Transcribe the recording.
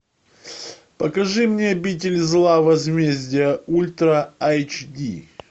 покажи мне обитель зла возмездие ультра айч ди